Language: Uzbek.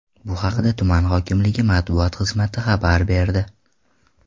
Bu haqda tuman hokimligi matbuot xizmati xabar berdi .